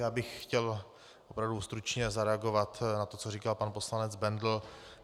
Já bych chtěl opravdu stručně zareagovat na to, co říkal pan poslanec Bendl.